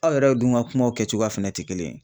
Aw yɛrɛ dun ka kumaw kɛcogoya fɛnɛ te kelen.